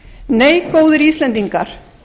nei góðir íslendingar